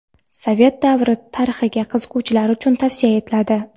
sovet davri tarixiga qiziquvchilar uchun tavsiya etiladi.